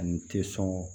Ani tɛ sɔn